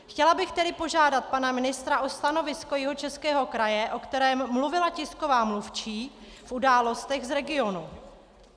Chtěla bych tedy požádat pana ministra o stanovisko Jihočeského kraje, o kterém mluvila tisková mluvčí v Událostech z regionu.